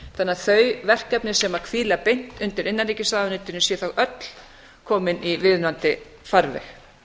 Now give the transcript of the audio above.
að þau verkefni sem hvíla beint undir innanríkisráðuneytinu séu þá öll komin í viðunandi farveg